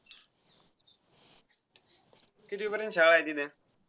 कितवी पर्यन्त शाळा आहे तिथं.